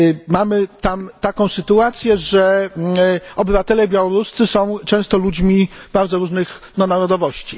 Mamy tam taką sytuację, że obywatele białoruscy są często ludźmi bardzo różnych narodowości.